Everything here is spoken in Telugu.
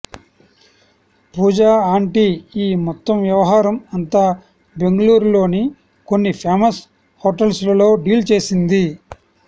పూజా ఆంటీ ఈ మొత్తం వ్యవహారం అంతా బెంగళూరులోని కొన్ని ఫేమస్ హోటల్స్ లో డీల్ చేసింది